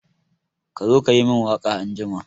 Ka zo ka yi min waka anjima!